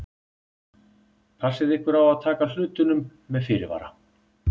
Passið ykkur á að taka hlutunum með fyrirvara.